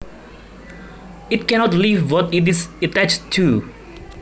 It cannot leave what it is attached too